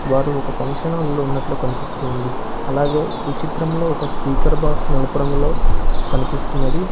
వారు ఒక function hall లో ఉన్నట్లు కనిపిస్తుంది అలాగే ఈ చిత్రంలో ఒక స్పీకర్ బాక్స్ నలుపు రంగులో కనిపిస్తున్నది.